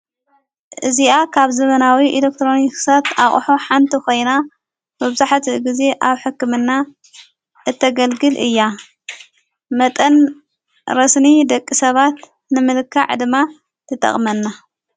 እዚኣ ካብ ዘበናዊ ኢለክጥሮንክሰት ኣቕሑ ሓንቲ ኾይና መብዙሕት ጊዜ ኣብ ሕክምና እተገልግል እያ መጠን ረስኒ ደቂ ሰባት ንምልካዕ ድማ ትጠቕመና።